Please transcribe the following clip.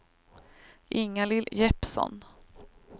Ingalill Jeppsson